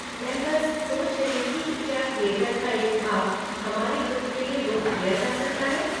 मैं बस सोच रही थी कि क्या थिएटर का एक भाग हमारे ग्रुप के लिए बुक किया जा सकता है?